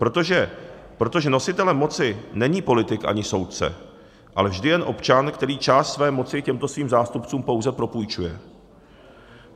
Protože nositelem moci není politik ani soudce, ale vždy jen občan, který část své moci těmto svým zástupcům pouze propůjčuje.